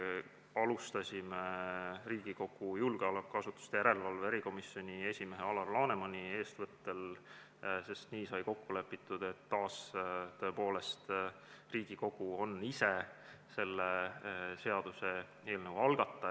Alustasime Riigikogu julgeolekuasutuste järelevalve erikomisjoni esimehe Alar Lanemani eestvõttel, sest nii sai kokku lepitud, et Riigikogu on taas ise selle seaduseelnõu algataja.